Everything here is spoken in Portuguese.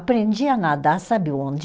Aprendi a nadar sabe onde?